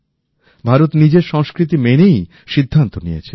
ভারত নিজের সংস্কৃতি মেনেই সিদ্ধান্ত নিয়েছে